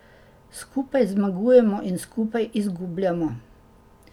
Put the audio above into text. Skupaj zmagujemo in skupaj izgubljamo.